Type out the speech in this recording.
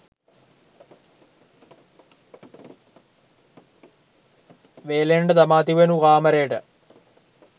වේලෙන්නට දමා තිබෙනු කාමරයට